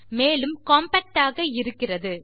மேலும் காம்பாக்ட் ஆக இருக்கிறது